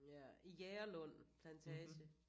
Ja i Jægerlund Plantage